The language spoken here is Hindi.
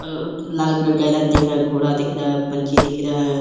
अअ लाल कलर का इधर दिख रहा है। घोड़ा दिख रहा है। पंछी दिख रहा है।